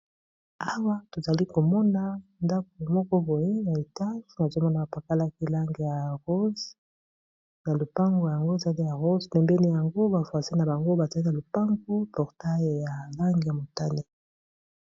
Awa tozali komona ndako moko boye na etake na zomona ba pokalaki langi ya rose lopango yango ezali ya rose pembeni yango ba voisin na bango batie na lupango portail ya langi ya motane.